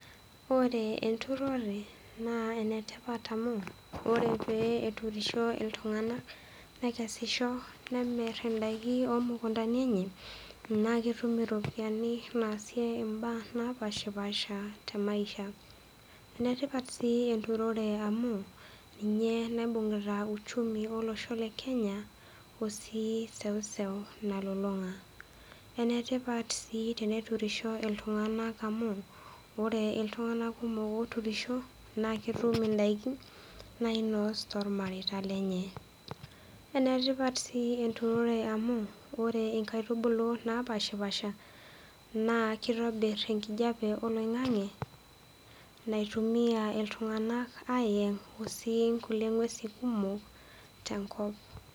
Ore entorore naa enetipat amu ore pee enturisho iltunganak nekesisho nemir indaiki ena ketumi iropiyiani naasie imbaa napashapasha temaisha . Enetipat sii enturore amu ninye naibungita uchumi olosho lekenya oseuseu nalulunga .Enetipat sii teneturisho iltunganak amu teneturisho naa ketum indaiki nainos tormareita lenye. Enetipat sii entuore amu ore nkaitubulu napashapasha naa kitobir enkijape oloingange naitumia iltunganak aimu si nkulie ngwesin kumok tenkop.